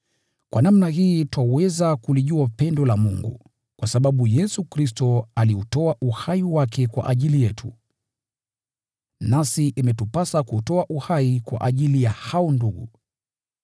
Kwa namna hii twaweza kulijua pendo la Mungu: Kwa sababu Yesu Kristo aliutoa uhai wake kwa ajili yetu. Nasi imetupasa kuutoa uhai kwa ajili ya hao ndugu.